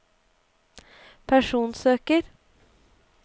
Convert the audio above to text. personsøker